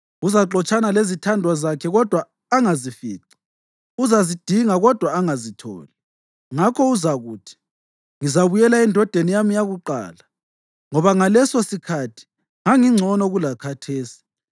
Uzaxotshana lezithandwa zakhe kodwa angazifici, uzazidinga kodwa angazitholi. Ngakho uzakuthi, ‘Ngizabuyela endodeni yami yakuqala, ngoba ngalesosikhathi ngangingcono kulakhathesi.’